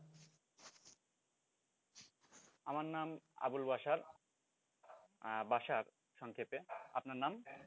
আমার নাম আবুল বাসার, বাসার সংক্ষেপে। আপনার নাম?